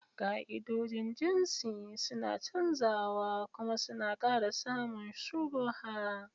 Ka'idojin jinsi suna canzawa kuma suna ƙara samun shubuha.